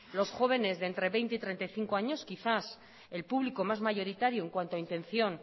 los jóvenes de entre veinte y treinta y cinco años quizás el público más mayoritario en cuanto a intención